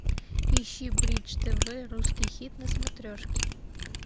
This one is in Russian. ищи бридж тв русский хит на смотрешке